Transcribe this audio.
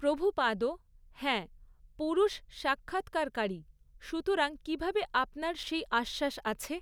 প্রভুপাদঃ হ্যাঁ, পুরুষ সাক্ষাৎকারকারী, সুতরাং কিভাবে আপনার সেই আশ্বাস আছে?